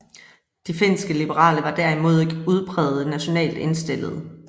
De finske liberale var derimod ikke udprægede nationalt indstillede